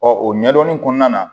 o ɲɛdɔnni kɔnɔna na